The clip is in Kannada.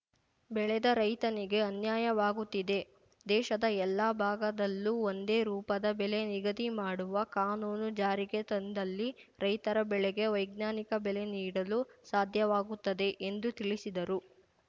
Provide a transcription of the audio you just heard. ಬೆಳೆದ ರೈತನಿಗೆ ಅನ್ಯಾಯವಾಗುತ್ತಿದೆ ದೇಶದ ಎಲ್ಲಾ ಭಾಗದಲ್ಲೂ ಒಂದೇ ರೂಪದ ಬೆಲೆ ನಿಗದಿ ಮಾಡುವ ಕಾನೂನು ಜಾರಿಗೆ ತಂದಲ್ಲಿ ರೈತರ ಬೆಳೆಗೆ ವೈಜ್ಞಾನಿಕ ಬೆಲೆ ನೀಡಲು ಸಾಧ್ಯವಾಗುತ್ತದೆ ಎಂದು ತಿಳಿಸಿದರು